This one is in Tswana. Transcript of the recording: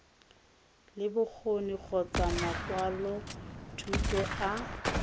le bokgoni kgotsa makwalothuto a